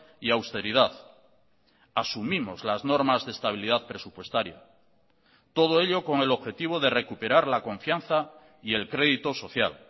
y austeridad asumimos las normas de estabilidad presupuestaria todo ello con el objetivo de recuperar la confianza y el crédito social